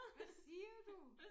Hvad siger du?